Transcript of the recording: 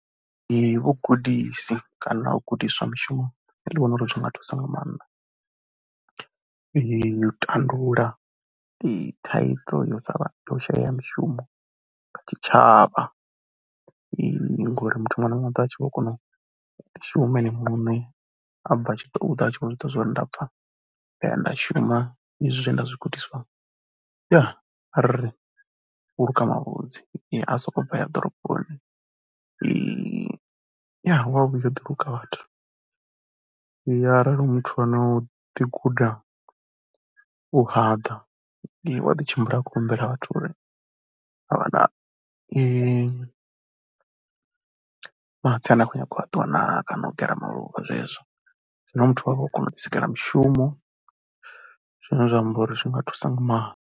Ee vhugudisi kana u gudiswa mushumo nṋe ndi vhona uri zwi nga thusa nga maanḓa u tandulula ndi thaidzo yo sa vha u shayea ha mishumo kha tshitshavha ngori muthu muṅwe na muṅwe u ḓo vha a tshi vho kona u shuma ene muṋe. A bva a tshi ṱoḓa a tshi vho zwi ḓivha zwa uri nda bva nda ya nda shuma izwi zwe nda zwi gudiswa ya, arali u khou luka mavhudzi a sokou bva a ya ḓoroboni ya, u ya ḓi vhuya o luka vhathu. Ya arali hu muthu ane o ḓi guda u haḓa, ee u a ḓi tshimbila a khou humbela vhathu uri a vha na mahatsi ane a khou nyaga u ṱuwa naa kana u gera maluvha zwezwo. Zwino muthu u ya vha o kona u ḓisikela mushumo zwine zwa amba uri zwi nga thusa nga maanḓa.